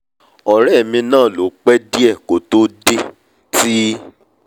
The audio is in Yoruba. ọ̀rẹ́ mi náà ló pẹ́ díẹ̀ kó tó dé tó dé ti